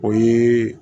O ye